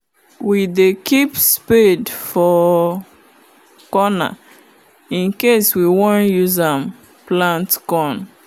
we dey keep spade for corner incase we won use am plant corn